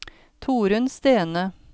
Torunn Stene